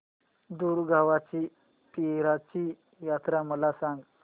दुगावची पीराची यात्रा मला सांग